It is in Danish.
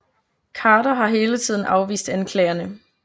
Khader har hele tiden afvist anklagerne